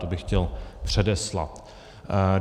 To bych chtěl předeslat.